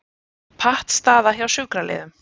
Pattstaða hjá sjúkraliðum